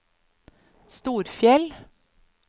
Storfjell